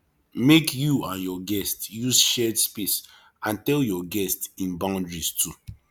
make you and your guest use shared space and tell your guest in boundaries too